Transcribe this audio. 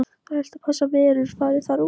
Það er helst að þessar verur fari þar út.